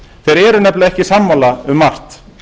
þeir eru nefnilega ekki sammála um margt